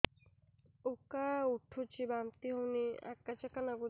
ଉକା ଉଠୁଚି ବାନ୍ତି ହଉନି ଆକାଚାକା ନାଗୁଚି